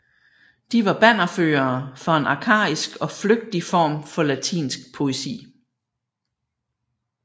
De var bannerførere for en arkaisk og flygtig form for latinsk poesi